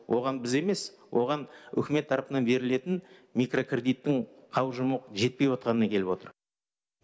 оған біз емес оған үкімет тарапынан берілетін микрокредиттің қаужымы жетпей отқанынан келіп отыр